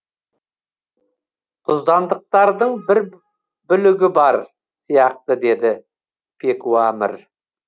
тұздандықтардың бір бүлігі бар сияқты деді пекуамір